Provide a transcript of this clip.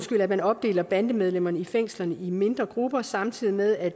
at man opdeler bandemedlemmerne i fængslerne i mindre grupper samtidig med at